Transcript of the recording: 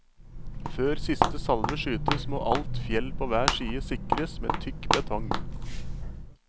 Før siste salve skytes må alt fjell på hver side sikres med tykk betong.